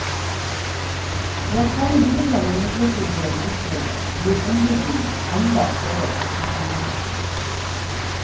Ved å kalle hyblene midlertidige bosteder gir ombygging enda større profittmuligheter.